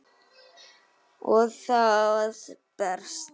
Og það berst.